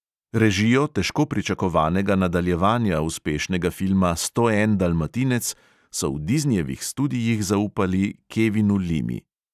Režijo težko pričakovanega nadaljevanja uspešnega filma sto en dalmatinec so v diznijevih studijih zaupali kevinu limi.